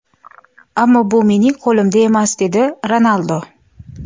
Ammo bu mening qo‘limda emas”, dedi Ronaldu.